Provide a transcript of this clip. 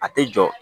A tɛ jɔ